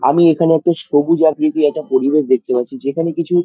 আমি এখানে একটা সবুজ আকৃতির একটা পরিবেশ দেখতে পাচ্ছি যেখানে কিছু--